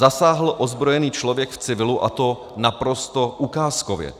Zasáhl ozbrojený člověk v civilu, a to naprosto ukázkově.